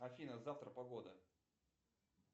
афина завтра погода